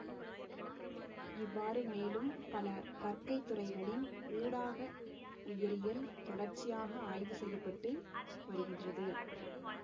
இவ்வாறு மேலும் பல கற்கைத்துறைகளின் ஊடாக உயிரியல் தொடர்ச்சியாக ஆய்வு செய்ய பட்டு வருகின்றது